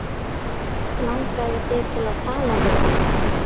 Langaði þig til að tala við hann?